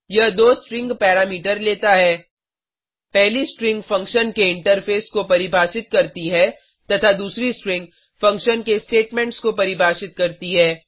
यह दो string parameter लेता है पहली स्ट्रिंग फंक्शन के इंटरफेस को परिभाषित करती है तथा दूसरी स्ट्रिंग फंक्शन के स्टेटमेंट्स को परिभाषित करती है